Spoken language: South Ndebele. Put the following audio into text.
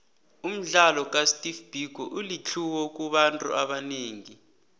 umdlalo ka steve biko ulitlhuwo kubantu abanengi